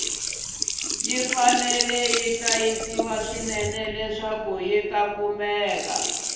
ya fanele ya hlayisiwa swinene kuri yata kumeka